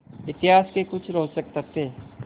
इतिहास के कुछ रोचक तथ्य